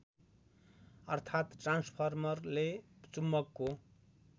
अर्थात् ट्रान्सफर्मरले चुम्बकको